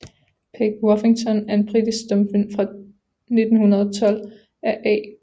Peg Woffington er en britisk stumfilm fra 1912 af A